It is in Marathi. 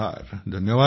धन्यवाद भाऊ